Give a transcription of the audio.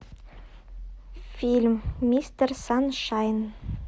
фильм мистер саншайн